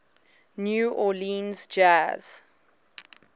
new orleans jazz